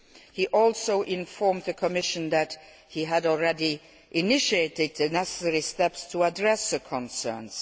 He informed the Commission that he had already initiated the necessary steps to address the concerns.